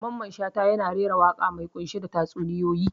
Mamman Shata yana rera waƙa mai ƙunshe da tatsuniyoyi.